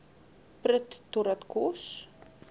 prut totdat kos